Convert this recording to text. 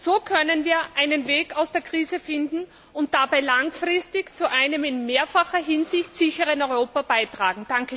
So können wir einen Weg aus der Krise finden und dabei langfristig zu einem in mehrfacher Hinsicht sicheren Europa beitragen.